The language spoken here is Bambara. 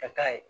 Ka ye